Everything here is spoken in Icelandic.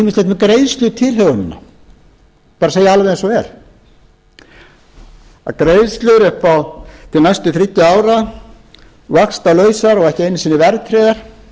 með greiðslutilhögunina bara segi það alveg eins og er að greiðslur til næstu þriggja ára vaxtalausar og ekki einu sinni verðtryggðar